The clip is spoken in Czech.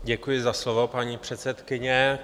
Děkuji za slovo, paní předsedkyně.